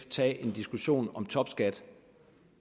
tage en diskussion om topskat